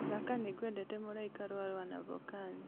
thaaka nĩngwendete mũraika rũa wanavokali